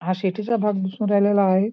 हा शेतीचा भाग दिसून राहिलेला आहे.